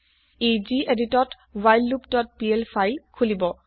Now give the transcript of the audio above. ই গেদিত ত whileloopপিএল ফাইল খোলিব